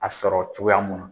A sɔrɔ cogoya mun na